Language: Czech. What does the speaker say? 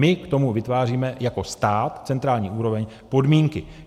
My k tomu vytváříme jako stát, centrální úroveň, podmínky.